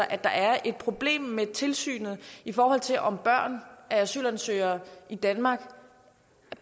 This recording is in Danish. at der er et problem med tilsynet i forhold til om børn af asylansøgere i danmark